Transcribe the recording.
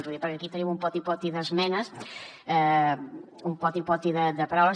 ho dic perquè aquí tenim un poti poti d’esmenes un poti poti de paraules